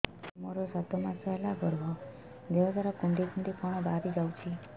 ସାର ମୋର ସାତ ମାସ ହେଲା ଗର୍ଭ ଦେହ ସାରା କୁଂଡେଇ କୁଂଡେଇ କଣ ବାହାରି ଯାଉଛି